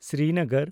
Srinagar